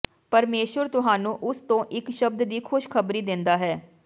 ਪਰਮੇਸ਼ੁਰ ਤੁਹਾਨੂੰ ਉਸ ਤੋਂ ਇਕ ਸ਼ਬਦ ਦੀ ਖ਼ੁਸ਼ ਖ਼ਬਰੀ ਦਿੰਦਾ ਹੈ